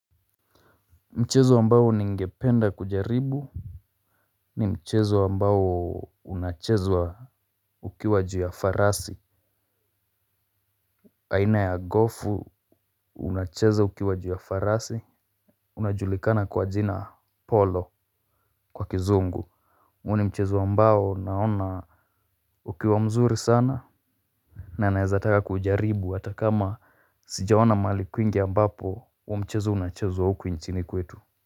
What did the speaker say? Mchezo ambao ningependa kujaribu. Ni mchezo ambao unachezwa ukiwa juu ya farasi. Aina ya gofu unacheza ukiwa juu ya farasi. Unajulikana kwa jina polo kwa kizungu, ni mchezo ambao naona ukiwa mzuri sana. Na naezataka kujaribu hata kama sijaona mahali kwingi ambapo huu mchezo unachezwa huku nchini kwetu.